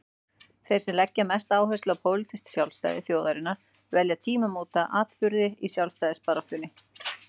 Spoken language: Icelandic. Þeir sem leggja mesta áherslu á pólitískt sjálfstæði þjóðarinnar velja tímamótaatburði í sjálfstæðisbaráttunni.